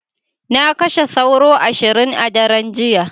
Na kashe sauro ashirin a daren jiya.